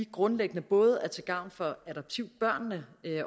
grundlæggende både er til gavn for adoptivbørnene